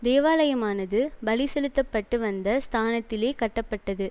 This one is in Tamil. தேவாலயமானது பலி செலுத்த பட்டு வந்த ஸ்தானத்திலே கட்டப்பட்டது